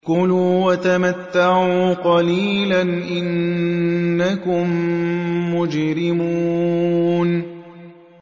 كُلُوا وَتَمَتَّعُوا قَلِيلًا إِنَّكُم مُّجْرِمُونَ